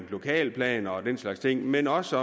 lokalplaner og den slags ting men også